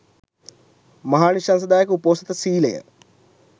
මහානිශංසදායක උපෝසථ සීලය